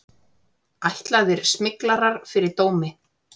Ætlaðir smyglarar fyrir dómi